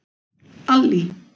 Allý